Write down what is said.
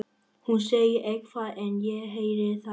Hún segir eitthvað en ég heyri það ekki.